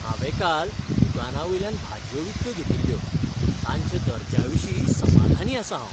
हांवें काल दुकानावयल्यान भाजयो विकत्यो घेतिल्ल्यो, तांच्या दर्ज्याविशीं समाधानी आसां हांव.